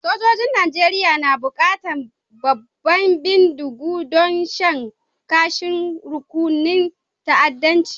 Sojoji'n Nijeriya na bukatan babban bindigogi don shan kashin rukunin ta'addancin.